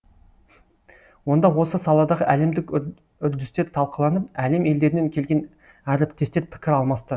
онда осы саладағы әлемдік үрдістер талқыланып әлем елдерінен келген әріптестер пікір алмасты